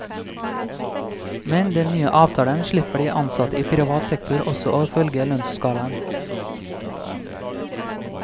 Med den nye avtalen slipper de ansatte i privat sektor også å følge lønnsskalaen.